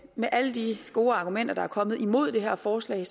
med alle de gode argumenter der er kommet imod det her forslag